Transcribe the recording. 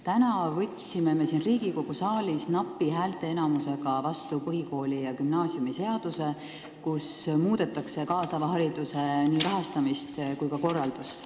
Täna me võtsime siin Riigikogu saalis napi häälteenamusega vastu põhikooli- ja gümnaasiumiseaduse muudatused, mis puudutavad kaasava hariduse rahastamist ja korraldust.